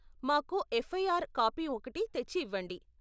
మాకు FIR copy ఒకటి తెచ్చి ఇవ్వండి.